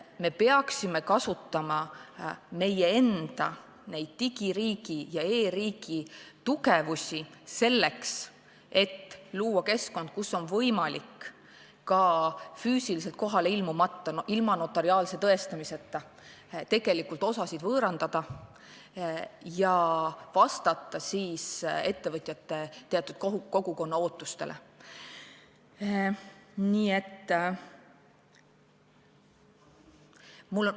Me peaksime kasutama meie enda digiriigi ja e-riigi tugevusi, selleks et luua keskkond, kus on võimalik ka füüsiliselt kohale ilmumata, ilma notariaalse tõestamiseta osasid võõrandada ja vastata ettevõtjate kogukonna ootustele.